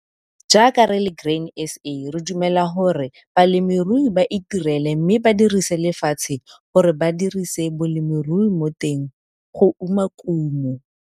Jaaka re le Grain SA re dumela gore balemirui ba itirele mme ba dirise lefatshe gore ba dirise bolemirui mo teng go uma kumo.